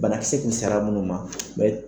Banakisɛ kun sera munnu ma.